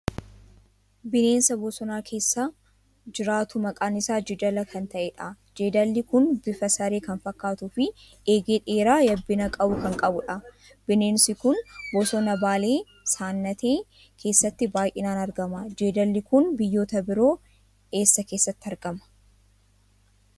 Bineensa bosona keessa jiraatu maqaan isaa jeedala kan ta'edha. Jeedalli kun bifaan saree kan fakkaatuu fi eegee dheeraa yabbina qabu kan qabudha. Bineensi kun bosona Baalee Saannatee keessatti baay'inaan argama. Jeedalli kun biyyoota biroo keessaa eessatti argama?